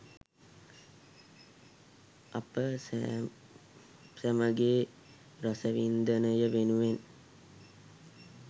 අප සැමගේ රසවින්දනය වෙනුවෙන්